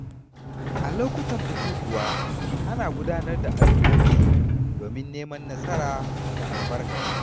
A lokutan bukukuwa, ana gudanar da addu’o’i domin neman nasara da albarka.